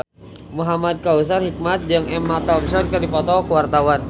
Muhamad Kautsar Hikmat jeung Emma Thompson keur dipoto ku wartawan